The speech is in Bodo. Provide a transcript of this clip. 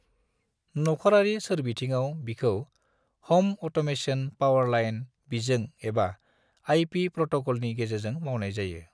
नखरारि सोरबिथिंआव बिखौ हम अट'मेसन पावारलाइन बिजों एबा आइपि प्रट'कलनि गेजेरजों मावनाय जायो।